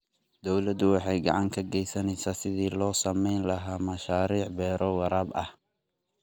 Dawladdu waxay gacan ka gaysanaysaa sidii loo samayn lahaa mashaariic beero waraab ah.